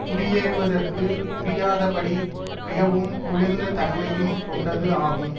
குடியேறுவதற்கு முடியாதபடி மிகவும் குளிர்ந்த தன்மையும் கொண்டது ஆகும்